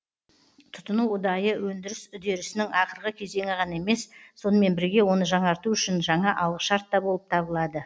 тұтыну ұдайы өндіріс үдерісінің ақырғы кезеңі ғана емес сонымен бірге оны жаңарту үшін жаңа алғышарт та болып табылады